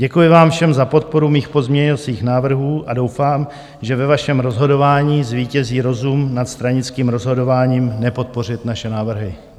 Děkuji vám všem za podporu mých pozměňovacích návrhů a doufám, že ve vašem rozhodování zvítězí rozum nad stranickým rozhodováním nepodpořit naše návrhy.